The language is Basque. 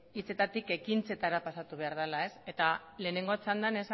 hitzetatik ekintzetara pasatu behar dela eta lehenengo txandan